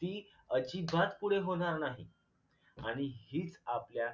ती अजिबात पुढे होणार नाही आणि हीच आपल्या